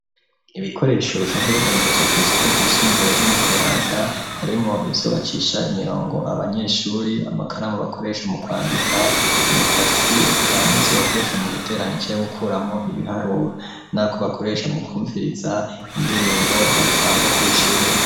Ibikoresho bisanzwe bidandaritzwa kw'isoko ry'isumbuye ryo mu Kayanza harimwo ivyo bacisha imirongo abanyeshuri amakaramu bakoresha mu kwandika imikasi eka nivyo bakoresha mu guteranya canke gukuramwo ibiharuro nako bakoresha mu kumviriza indirimbo batamba kw'ishuri.